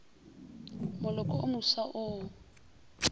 moloko wo mofsa wo o